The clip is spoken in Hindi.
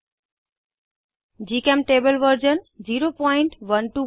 जीचेमटेबल वर्जन 01210